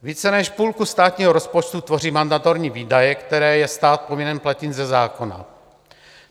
Více než půlku státního rozpočtu tvoří mandatorní výdaje, které je stát povinen platit ze zákona.